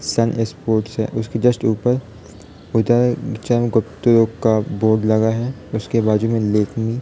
सन sports है। उसके just ऊपर उदय चर्म गुप्तरोग का बोर्ड लगा है। उसके बाजू में लक्मे --